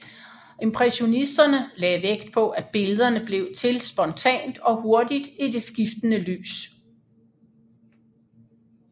Impressionisterne lagde vægt på at billederne blev til spontant og hurtigt i det skiftende lys